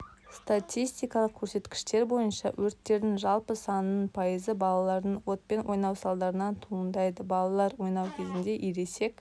статистикалық көрсеткіштер бойынша өрттердің жалпы санының пайызы балалардың отпен ойнау салдарынан туындайды балалар ойнау кезінде ересек